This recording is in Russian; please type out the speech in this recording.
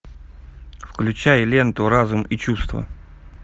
включай ленту разум и чувства